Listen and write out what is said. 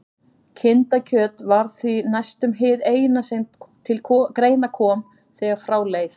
Kindakjöt var því næstum hið eina sem til greina kom þegar frá leið.